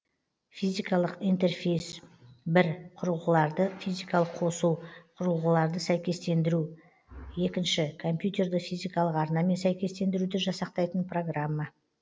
физикалық интерфейс бір құрылғыларды физикалық қосу құрылғыларды сәйкестендіру екінші компьютерді физикалық арнамен сәйкестендіруді жасақтайтын программа